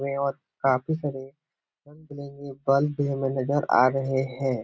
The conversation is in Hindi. हैं और काफ़ी सारे रंग बिरंगे बल्ब भी हमें नज़र आ रहें हैं।